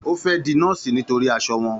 Ó fẹ́ di Nọ́ọ̀sì nítorí aṣọ wọn.